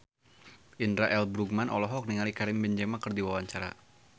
Indra L. Bruggman olohok ningali Karim Benzema keur diwawancara